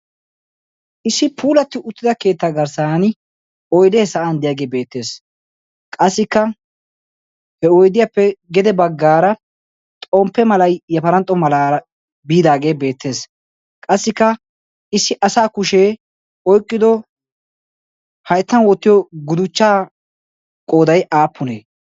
Issi puulatti uttida keetta garssan oydde sa'an diyaage beettees. Qassikka he oyddiyappe gede baggaara xomppe malay yafaranxxo malaara biidaage beettees. Qassikka issi asa kushe oyqqido hayttan wottiyo guddichchaa qooday aappunee?